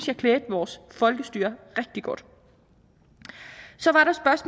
jeg klædte vores folkestyre rigtig godt så